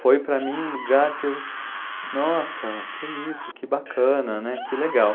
Foi para mim um lugar que eu, nossa, que isso, que bacana, né, que legal.